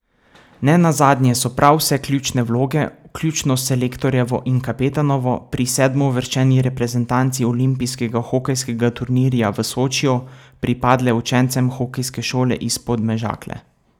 Nenazadnje so prav vse ključne vloge, vključno s selektorjevo in kapetanovo, pri sedmouvrščeni reprezentanci olimpijskega hokejskega turnirja v Sočiju pripadle učencem hokejske šole iz Podmežakle!